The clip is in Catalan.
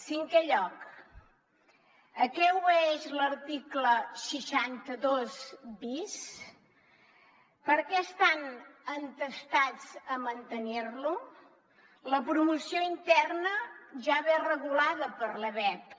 cinquè lloc a què obeeix l’article seixanta dos bis per què estan entestats a mantenir lo la promoció interna ja ve regulada per l’ebep